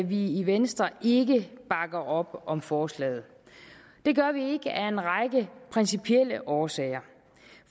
vi i venstre ikke bakker op om forslaget det gør vi ikke af en række principielle årsager